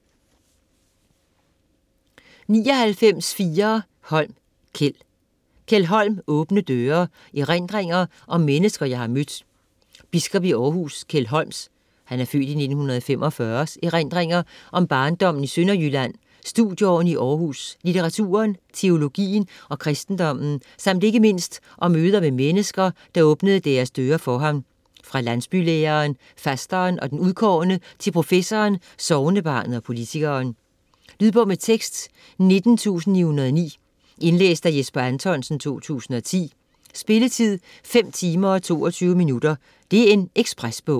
99.4 Holm, Kjeld Holm, Kjeld: Åbne døre: erindringer om mennesker jeg har mødt Biskop i Århus, Kjeld Holms (f. 1945) erindringer om barndommen i Sønderjylland, studieårene i Århus, litteraturen, teologien og kristendommen samt ikke mindst om møder med mennesker, der åbnede deres døre for ham - fra landsbylæreren, fasteren og den udkårne til professoren, sognebarnet og politikeren. Lydbog med tekst 19909 Indlæst af Jesper Anthonsen, 2010. Spilletid: 5 timer, 22 minutter. Ekspresbog